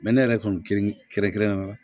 ne yɛrɛ kun girin kɛrɛnkɛrɛnnenya la